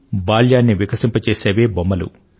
బాల్యాన్ని వికసింపజేసేవే బొమ్మలు